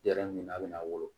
Yɛrɛ ɲini a bɛna wolo